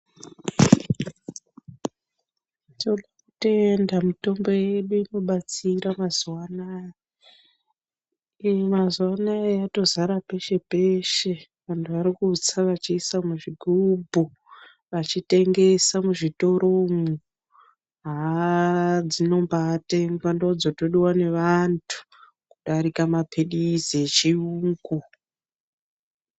Totenda mitombo yedu irikubatsira mazuva anaya mazuva anaya yatozara peshe-peshe, vantu varikutsa vachiisa muzvigubhu. Vachitengesa muzvitoromwo haa dzinombatengwa ndodzotodiva neantu kudarika maphirizi echiyungu